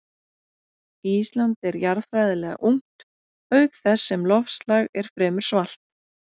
Ísland er jarðfræðilega ungt auk þess sem loftslag er fremur svalt.